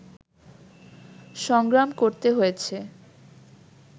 সংগ্রাম করতে হয়েছে